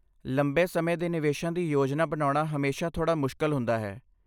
ਲੰਬੇ ਸਮੇਂ ਦੇ ਨਿਵੇਸ਼ਾਂ ਦੀ ਯੋਜਨਾ ਬਣਾਉਣਾ ਹਮੇਸ਼ਾ ਥੋੜਾ ਮੁਸ਼ਕਲ ਹੁੰਦਾ ਹੈ।